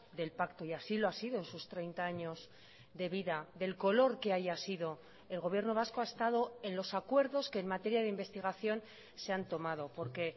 del pacto y así lo ha sido en sus treinta años de vida del color que haya sido el gobierno vasco ha estado en los acuerdos que en materia de investigación se han tomado porque